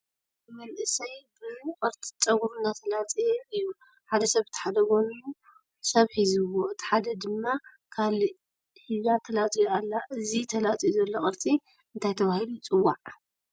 ሓደ መንእሰይ ብ ቅርፂ ፀጉሩ እናተላፀየ እዩ ሓደ ሰብ በተሓደ ጎኑ ሰብ ሒዝዎ እቲ ሓደ ድማ ካሊእ ሒዛ ትላፅዮ ኣላ እዚ ተላፅዩ ዘሎ ቅርፂ እንታይ ተባሂሉ ይፅዋዕ